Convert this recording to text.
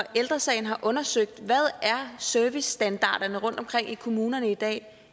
ældre sagen har undersøgt hvad servicestandarderne er rundtomkring i kommunerne i dag